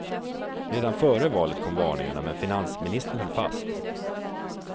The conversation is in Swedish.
Redan före valet kom varningarna men finansministern höll fast.